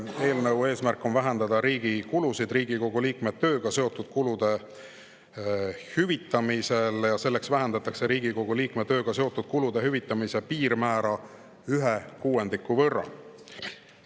Eelnõu eesmärk on vähendada riigi kulusid Riigikogu liikme tööga seotud kulude hüvitamisel ja selleks vähendatakse Riigikogu liikme tööga seotud kulude hüvitamise piirmäära ühe kuuendiku võrra.